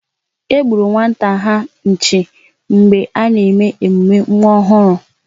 E gburu nwata ha nchi mgbe a na-eme emume nwa ọhụrụ